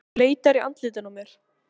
Þú leitar í andlitinu á mér.